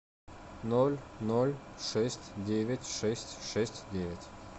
ноль ноль шесть девять шесть шесть девять